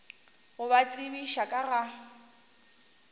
go ba tsebiša ka ga